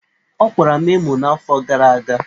Ọkwara m emo n'afọ gara aga.